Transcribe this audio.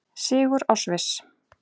Sigur á Sviss